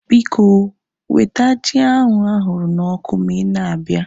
Biko, weta ji ahu ahụrụ na ọkụ ma ị na-abịa